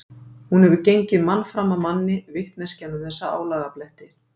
Hún hefur gengið mann fram af manni, vitneskjan um þessa álagabletti.